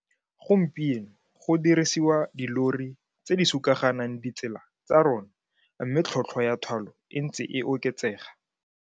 Gompieno go dirisiwa dillori tse di sukaganang ditsela tsa rona mme tlhotlhwa ya thwalo e ntse e oketsega.